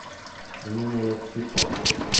нина евсикова